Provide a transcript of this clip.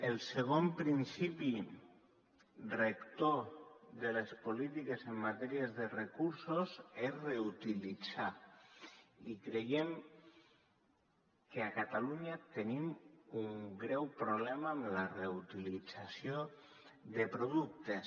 el segon principi rector de les polítiques en matèria de recursos és reutilitzar i creiem que a catalunya tenim un greu problema amb la reutilització de productes